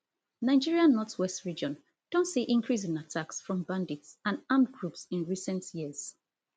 nigeria northwest region don see increase in attacks from bandits and armed groups in recent years